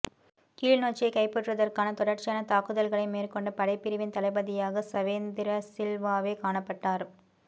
கிளிநொச்சியை கைப்பற்றுவதற்கான தொடர்ச்சியான தாக்குதல்களை மேற்கொண்ட படைப்பிரிவின் தளபதியாக சவேந்திரசில்வாவே காணப்பட்டார்